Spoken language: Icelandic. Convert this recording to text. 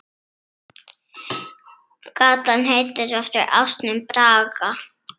Gatan heitir eftir ásnum Braga.